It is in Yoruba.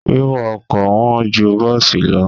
Wíwọ ọkọ̀ wọn ju bọ́ọ̀sì lọ.